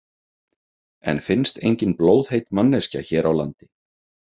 En finnst engin blóðheit manneskja hér á landi?